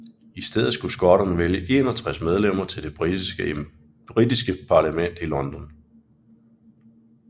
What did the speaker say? I stedet skulle skotterne vælge 61 medlemmer til Det britiske parlament i London